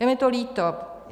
Je mi to líto.